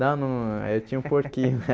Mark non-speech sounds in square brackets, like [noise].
Não não, eu tinha um porquinho. [laughs]